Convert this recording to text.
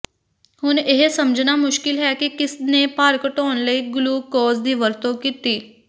ਹੁਣ ਇਹ ਸਮਝਣਾ ਮੁਸ਼ਕਿਲ ਹੈ ਕਿ ਕਿਸ ਨੇ ਭਾਰ ਘਟਾਉਣ ਲਈ ਗਲੂਕੋਜ਼ ਦੀ ਵਰਤੋਂ ਕੀਤੀ